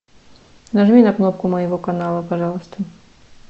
нажми на кнопку моего канала пожалуйста